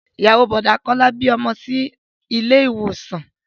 Ìyàwó Bọ̀dá Kọ́lá bí ọmọ sí ilé ìwòsàn